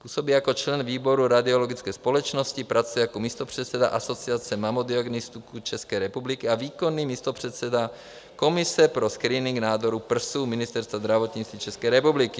Působí jako člen výboru Radiologické společnosti, pracuje jako místopředseda Asociace mamodiagnostiků České republiky a výkonný místopředseda Komise pro screening nádoru prsu Ministerstva zdravotnictví České republiky.